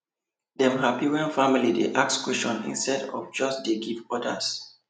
dem happy when family dey ask question instead of just dey give orders